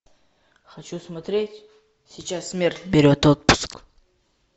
хочу смотреть сейчас смерть берет отпуск